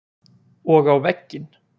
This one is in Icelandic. Og á vegginn.